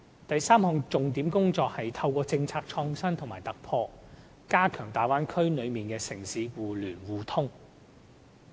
第三項重點工作，是透過政策創新和突破，加強大灣區內城市互聯互通。